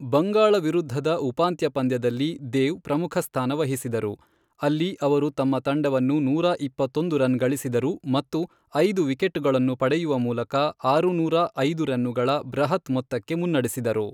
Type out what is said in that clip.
ಬಂಗಾಳ ವಿರುದ್ಧದ ಉಪಾಂತ್ಯ ಪಂದ್ಯದಲ್ಲಿ ದೇವ್ ಪ್ರಮುಖ ಸ್ಥಾನ ವಹಿಸಿದರು, ಅಲ್ಲಿ ಅವರು ತಮ್ಮ ತಂಡವನ್ನು ನೂರಾ ಇಪ್ಪತ್ತೊಂದು ರನ್ ಗಳಿಸಿದರು ಮತ್ತು ಐದು ವಿಕೆಟುಗಳನ್ನು ಪಡೆಯುವ ಮೂಲಕ ಆರುನೂರಾ ಐದು ರನ್ನುಗಳ ಬೃಹತ್ ಮೊತ್ತಕ್ಕೆ ಮುನ್ನಡೆಸಿದರು.